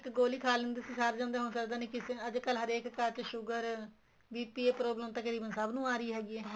ਇੱਕ ਗੋਲੀ ਖਾ ਲੈਂਦੇ ਸੀ ਸਰ ਜਾਂਦਾ ਸੀ ਹੁਣ ਸਰਦਾ ਨਹੀਂ ਅੱਜ ਕੱਲ ਹਰੇਕ ਘਰ ਚ sugar BP ਇਹ problem ਤਾਂ ਤਕਰੀਬਨ ਸਭ ਨੂੰ ਆ ਰਹੀ ਹੈਗੀ ਏ